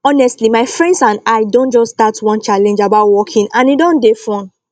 honestly my friends and i don just start one challenge about walking and e don dey fun